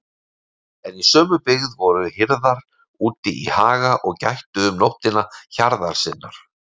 En í sömu byggð voru hirðar úti í haga og gættu um nóttina hjarðar sinnar.